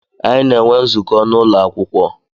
Anyi na enwe nzukọ na ụlọ akwụkwọ.